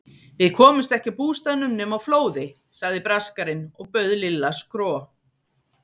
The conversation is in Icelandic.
Við komust ekki að bústaðnum nema á flóði sagði Braskarinn og bauð Lilla skro.